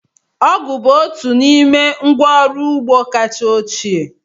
Ọgụ̀ bụ otu n'ime ngwa ọrụ ugbo kacha ochie.